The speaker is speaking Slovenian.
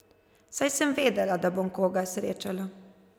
Saj sem vedela, da bom koga srečala.